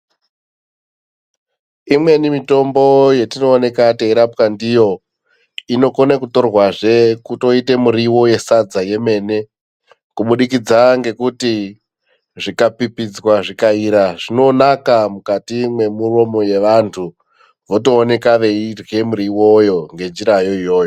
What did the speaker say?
Imweni mitombo yetinooneka teirapwa ndiyo inokone kutorwazve kutoite muriwo yesadza yemene kubudikidza ngekuti zvikapipidzwa zvikaira zvinonaka mukati mwemuromo yevantu votooneka veirye muriwoyo ngenjirayo iyoyo.